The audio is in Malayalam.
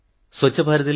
പൂർണ്ണമായും അന്ധനാണ്